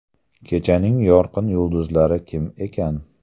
Kechaning yorqin yulduzlari kim ekan?